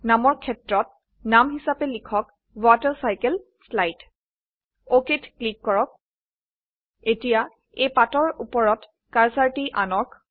নামৰক্ষেত্তনাম হিসাবে লিখকWaterCycleSlide অক ক্লিক কৰক এতিয়া এই পাতৰউপৰতকাৰ্সাৰটি আনক